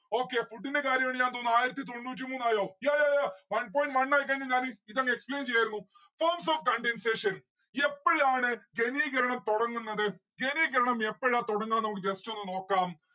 okay food ന്റെ കാര്യം ആ തോന്നുന്ന് ആയിരത്തി തൊണ്ണൂറ്റി മൂന്നായോ yayaya. one point one ആയിക്കഴിഞ്ഞാൽ ഞാൻ ഈ ഇതൊന്ന് explain ചെയ്യായിരുന്നു forms of condensation യെപ്പോഴാണ് ഘനീകരണം തൊടങ്ങുന്നത? ഘനീകരണം എപ്പോഴാ തുടങ്ങുന്നത് നമ്മുക്ക് just ഒന്ന് നോക്കാം